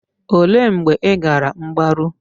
Olee mgbe ị gara mgbaru?